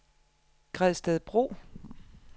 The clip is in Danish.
Gredstedbro